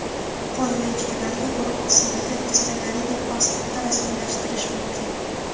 Qo‘y va echkilarga guruh usulida veterinariya pasporti rasmiylashtirilishi mumkin.